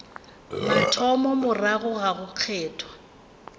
mathomo morago ga go kgethwa